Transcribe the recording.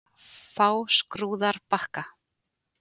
Fáskrúðarbakka